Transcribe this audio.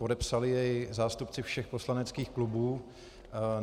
Podepsali jej zástupci všech poslaneckých klubů.